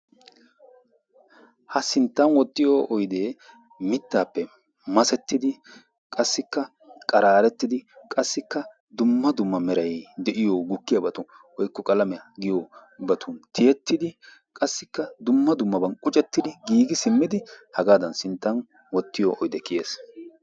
Ha sinttan wottiyo oydee mitaappe masettidi qassikka qaraarettidi qassikka dumma dumma meray de'iyo gukkiyabatu woykko qalamiya giyobatun tiyetidi qassikka dumma dummabaan quccetidi giiggi simmidi hagaadan sinttan wottiyo oydee kiyees.